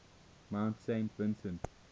mount saint vincent